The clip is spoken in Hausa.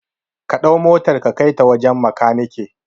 Kaɗau motar ka kai ta wajan makaneke